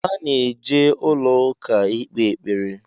A na-eje ụlọ ụka ikpe ekpere